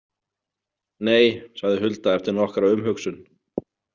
Nei, sagði Hulda eftir nokkra umhugsun.